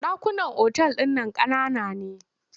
Ɗakunan otal ɗin nan ƙanana ne.